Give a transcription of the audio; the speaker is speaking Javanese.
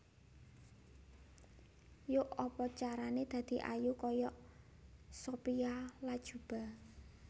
Yok apa carane dadi ayu koyok Sophia Latjuba